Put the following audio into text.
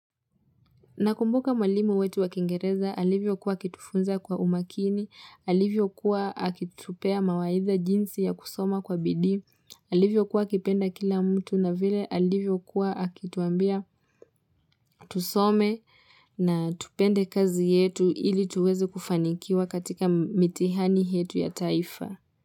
Nakumbuka mwalimu wetu wakingereza alivyo kuwa akitufunza kwa umakini, alivyo kuwa akitupea mawaidha jinsi ya kusoma kwa bidii, alivyokua akipenda kila mtu na vile alivyo kuwa akituambia tusome na tupende kazi yetu ili tuweze kufanikiwa katika mitihani yetu ya taifa.